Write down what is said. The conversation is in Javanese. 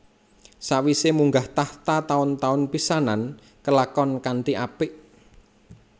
Sawise munggah tahta taun taun pisanan kalakon kanthi apik